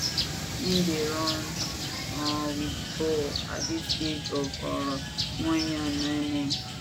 im dey run um wit di ball at di age of um 1year and 9months